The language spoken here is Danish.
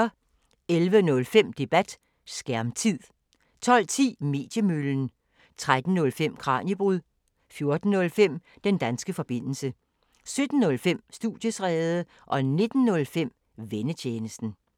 11:05: Debat: Skærmtid 12:10: Mediemøllen 13:05: Kraniebrud 14:05: Den danske forbindelse 17:05: Studiestræde 19:05: Vennetjenesten